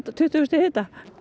tuttugu stiga hita